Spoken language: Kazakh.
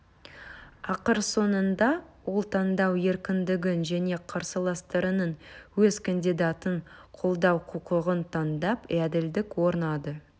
ақыр соңында ол таңдау еркіндігін және қарсыластарының өз кандидатын қолдау құқығын таңдап әділдік орнады